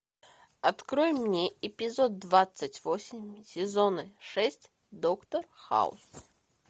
открой мне эпизод двадцать восемь сезона шесть доктор хаус